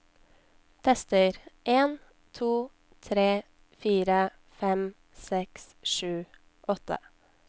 Tester en to tre fire fem seks sju åtte